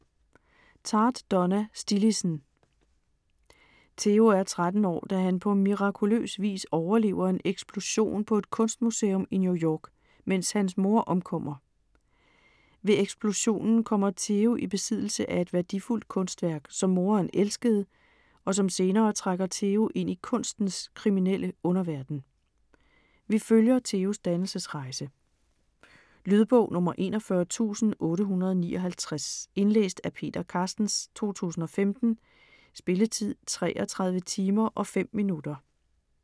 Tartt, Donna: Stillidsen Theo er 13 år, da han på mirakuløs vis overlever en eksplosion på et kunstmuseum i New York, mens hans mor omkommer. Ved eksplosionen kommer Theo i besiddelse af et værdifuldt kunstværk, som moderen elskede, og som senere trækker Theo ind i kunstens kriminelle underverden. Vi følger Theos dannelsesrejse. Lydbog 41859 Indlæst af Peter Carstens, 2015. Spilletid: 33 timer, 5 minutter.